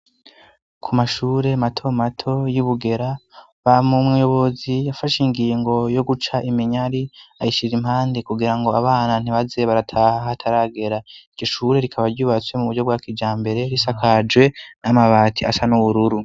ku mashure mato mato y'ibugera ba mu muyobozi yafashe ingingo yo guca imenyari ayishira impande kugira ngo abana ntibaze barataha hataragera iryo ishure rikaba ryubatswe mu buryo bwa kija mbere risakajwe n'amabati asa n'ubururu